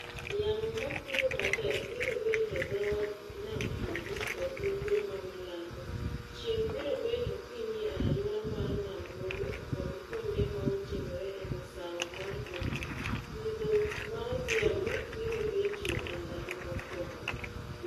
Yamo makutho matek biro bet e dho wadh nam chumbi kod ugwe ma milambo. Chieng' biro bet okinyi e alura mar nam Lolwe kod kuonde maoting'ore e masawa mar hoho. "Nyidho maodhiambo biro betie e ndalo mokwongo."